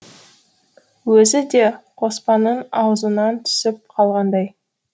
өзі де қоспанның аузынан түсіп қалғандай